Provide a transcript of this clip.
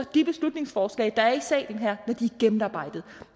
de beslutningsforslag der er i salen her når de er gennemarbejdede